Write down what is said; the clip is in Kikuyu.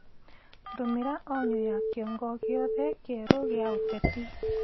ndũmĩra onyo ya kĩongo giothe kieru gia uteti